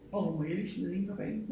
Hov må jeg lige smide en på banen?